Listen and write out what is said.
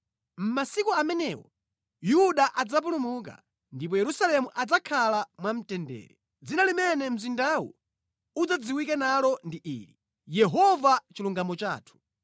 Mʼmasiku amenewo Yuda adzapulumuka ndipo Yerusalemu adzakhala mwamtendere. Dzina limene mzindawu udzadziwike nalo ndi ili: Yehova Chilungamo Chathu.’